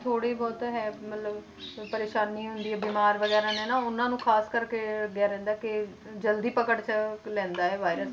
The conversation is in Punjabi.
ਥੋੜ੍ਹੇ ਬਹੁਤ ਹੈ ਮਤਲਬ ਪਰੇਸਾਨੀ ਹੁੰਦੀ ਹੈ ਬਿਮਾਰ ਵਗ਼ੈਰਾ ਨੇ ਨਾ ਉਹਨਾਂ ਨੂੰ ਖ਼ਾਸ ਕਰਕੇ ਇਹ ਲੱਗਿਆ ਰਹਿੰਦਾ ਕਿ ਜ਼ਲਦੀ ਪਕੜ 'ਚ ਲੈਂਦਾ ਇਹ virus